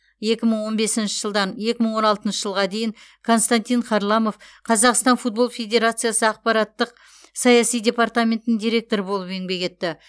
екі мың он бесінші жылдан екі мың он алтыншы жылға дейін константин харламов қазақстан футбол федерациясы ақпараттық саяси департаментінің директоры болып еңбек етті